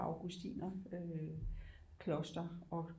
Augustinerkloster og